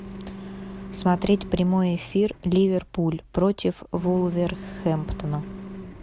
смотреть прямой эфир ливерпуль против вулверхэмптона